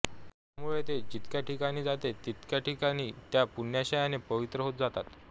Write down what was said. त्यामुळे ते जितक्या ठिकाणी जाते ती ठिकाणे त्या पुण्यांशाने पवित्र होत जातात